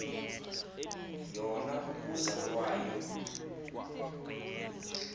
yona ukuza kwayo